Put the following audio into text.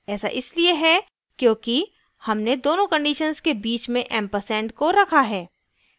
ऐसा इसलिए है क्योंकि हमने दोनों conditions के बीच में एम्परसैंड ampersand को रखा है